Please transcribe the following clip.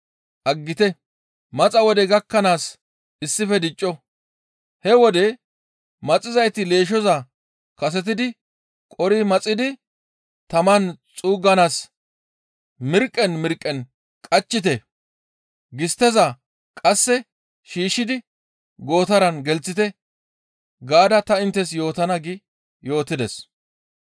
aggite! Maxa wodey gakkanaas issife dicco; he wode maxizayti leeshshoza kasetidi qori maxidi taman xuugganaas mirqqen mirqqen qachchite; gistteza qasse shiishshidi gootaran gelththite› gaada ta inttes yootana» gi yootides.